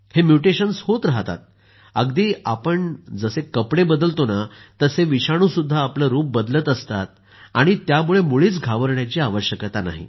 हे म्युटेशन्स होत राहतात अगदी आपण जसं कपडे बदलतो तसे विषाणुही आपलं रूप बदलत असतात आणि त्यामुळे मुळीच घाबरण्याची आवश्यकता नाही